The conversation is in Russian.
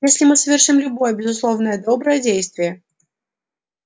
если мы совершим любое безусловно доброе действие